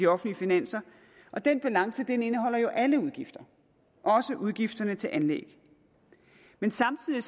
offentlige finanser og den balance indeholder alle udgifter også udgifterne til anlæg men samtidig